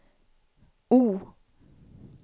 O